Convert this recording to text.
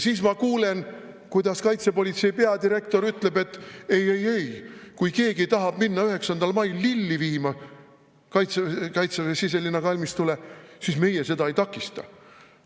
Siis ma kuulen, kuidas kaitsepolitsei peadirektor ütleb, et ei-ei-ei, kui keegi tahab minna 9. mail viima lilli Kaitseväe kalmistule, siis nemad seda ei takista.